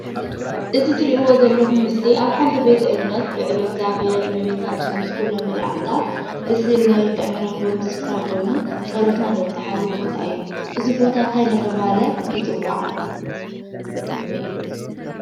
እዚ እትርእዎ ዘለኩም ምስሊ ኣብ ሓንቲ ቤቴ እምነት ለኡል እዝጋብሄር እመብታችን ምስ ኩሎም መላኣክታት ብስእሊ መልክዕ እንረኽበሉ ስፍራ ኾይኑ ፆሎትና እነብፀሕሉ ቦታ እዩ ።እዚ ቦታ እንታይ እዳተበሃለ ይፅዋዕ?